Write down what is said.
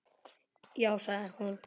Já sagði hún.